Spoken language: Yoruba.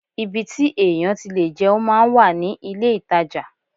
Ibi tí èèyàn ti lè jẹun máa ń wà ní ilé-ìtajà